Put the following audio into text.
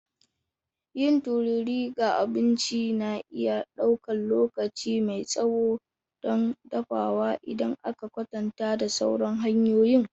Yin tururi ga abinci na iya ɗaukar lokaci mai tsawo don dafawa idan aka kwatanta da sauran hanyoyin.